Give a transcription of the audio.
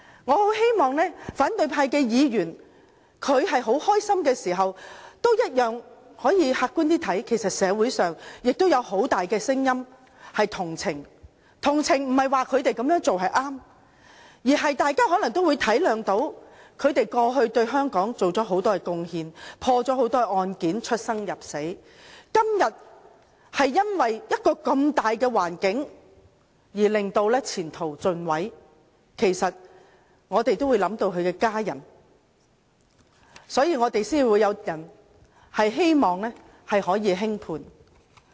我希望反對派議員在高興之餘，也可以客觀地看看，其實社會上也有很大的同情聲音，所謂同情並非認為他們那樣做是正確，而是大家可能體諒他們過去對香港作出很多貢獻，破了很多案件，出生入死，今天卻因為一個如此的大環境而前途盡毀，其實我們都會想到他們的家人，所以才有人希望可以輕判。